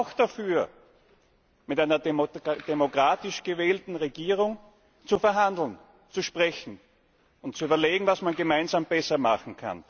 Wir sind aber auch dafür, mit einer demokratisch gewählten Regierung zu verhandeln, zu sprechen und zu überlegen, was man gemeinsam besser machen